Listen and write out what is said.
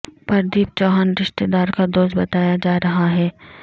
پردیپ چوہان رشتہ دار کا دوست بتایا جا رہا ہے